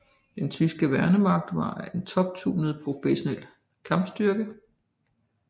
Den tyske værnemagt var en toptunet professionel kampstyrke